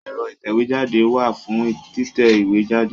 Ẹ̀rọ ìtẹ̀wéjáde wà fún títẹ ìwé jáde.